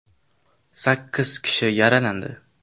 Sakkiz kishi yaralandi.